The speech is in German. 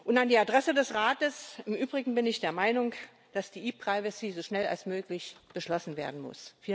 An die Adresse des Rates Im Übrigen bin ich der Meinung, dass die ePrivacy so schnell wie möglich beschlossen werden muss.